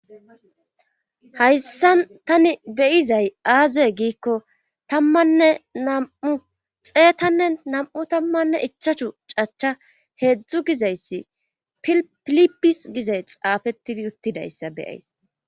hayssan tani beyizay aaze giikko tammanne nam7u xeetanne nam7u tammanne ichachu cacha heedzdzu gizayssi pilipis gizay xaafettidi uttidayssa beyays